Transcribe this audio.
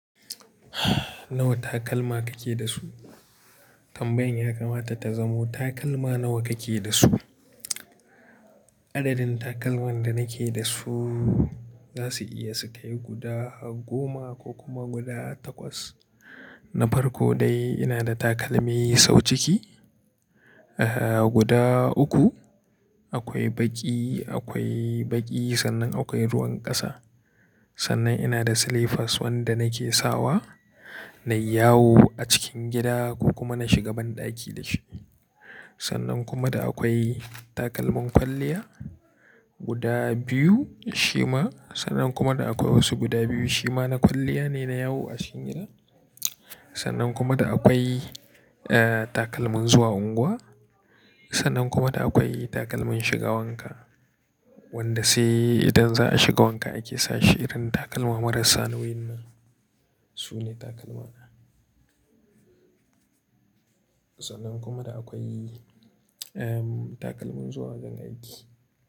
Nawa takalma kake da su? Tambayan ya kamata ta zamo takalma nawa kake da su. Adadin takalman da nake da su za su iya su kai guda goma ko kuma guda takwas. Na farko dai ina da takalmi sau ciki, ah guda uku, akwai baƙi, akwai baƙi sannan akwai ruwan ƙasa. Sannan ina da slippers wanda nake sawa na yawo a cikin gida ko kuma na shiga banɗaki da shi. Sannan kuma da akwai takalmin kwalliya guda biyu shima. Sannan kuma da akwai wasu guda biyu shima na kwalliya ne na yawo a cikin gida. Sannan kuma da akwai ah takalmin zuwa unguwa. Sannan kuma da akwai takalmin shiga wanka, wanda sai idan za a shiga wanka ake sawa shi irin takalma marasa nauyin nan. Su ne takalma na. Sannan kuma da akwai ehm takalmin zuwa wajen aiki.